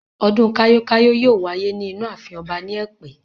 Ọdún kayo-kayo yóò wáyé ní inú ààfin ọba ni ẹ̀pẹ́.